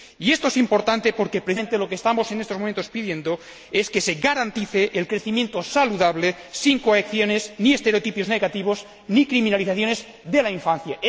Y esto es importante, porque precisamente lo que estamos pidiendo en estos momentos es que se garantice el crecimiento saludable, sin coacciones ni estereotipos negativos ni criminalizaciones de la infancia.